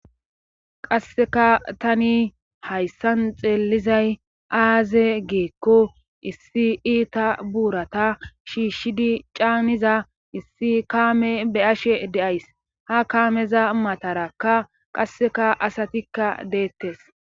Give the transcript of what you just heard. qasseka tani hayssan xeellizay aaze geekko issi iita buurata shiishshidi caaniza issi kaame be ashe de7ays ha kaameza matarakka qasseka asatikka deettes